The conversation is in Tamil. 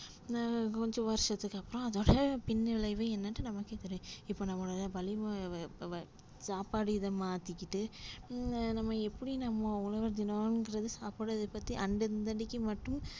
அஹ் கொஞ்சம் வருஷத்துக்கு அப்றோம் அதோட பின்விளைவு என்னன்ட்டு நமக்கே தெரியும் இப்போ நம்ம வலி சாப்பாடு இத மாத்திக்கிட்டு நம்ம எப்டி நம்ம உழவர்தினம்றது, சாப்பாடு இதபத்தி அந்த அன்னக்கிமட்டும்